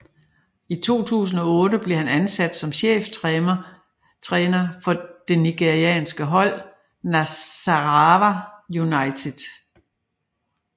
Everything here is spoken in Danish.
I 2008 blev han ansat som cheftræner for det nigerianske hold Nasarawa United